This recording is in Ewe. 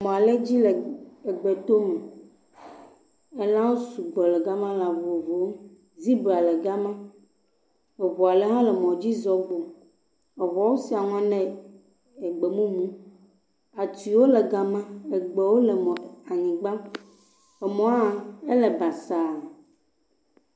Emɔ ɖe dzi le egbetome. Elãwo sɔgbɔ le ga ma, lã vovovowoe, zibra le ga ma, eŋua le hã le mɔdzi zɔm gbɔna. Eŋua wosia ŋɔ nɛ egbemumu. Atiwo le ga ma, egbewo le anyigba. Emɔ hã ele basaa.